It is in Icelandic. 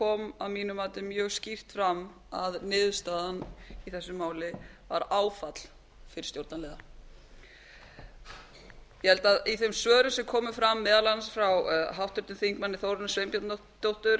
kom að mínu mati mjög skýrt fram að niðurstaðan í þessu máli var áfall fyrir stjórnarliða ég held að í þeim svörum sem komu fram meðal annars frá háttvirtum þingmanni þórunni sveinbjarnardóttur